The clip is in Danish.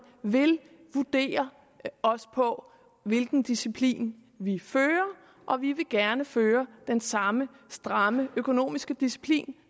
vil vurdere os på hvilken disciplin vi fører og vi vil gerne føre den samme stramme økonomiske disciplin